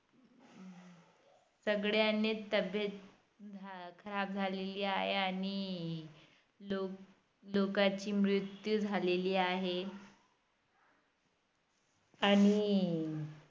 बाई येणार की नाही येणार. बाई नाही आल्या तर खेळायला भेटणार की नाही भेटणार.